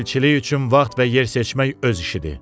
Elçilik üçün vaxt və yer seçmək öz işidir.